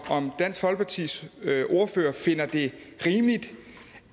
dansk folkepartis ordfører finder det rimeligt